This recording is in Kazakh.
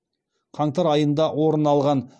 қаңтар айында орын алған